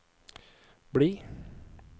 bli